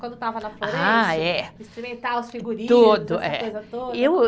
Quando estava na Florêncio. Ah, é. Experimentar os figurinos, essa coisa toda.